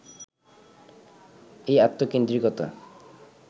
এই আত্মকেন্দ্রিকতা